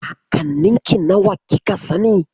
Kakanninki nawa kika sani?